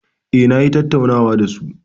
Eh, na yi tattaunawan da su.